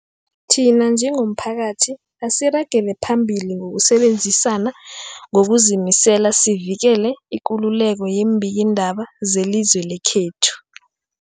Thina njengomphakathi, asiragele phambili ngokusebenzisana ngokuzimisela sivikele ikululeko yeembikiindaba zelizwe lekhethu.